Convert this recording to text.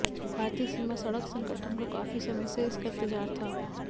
भारतीय सीमा सड़क संगठन को काफी समय से इसका इंतजार था